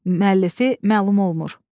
Müəllifi məlum olmur.